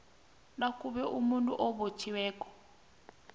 nakube umuntu obotjhiweko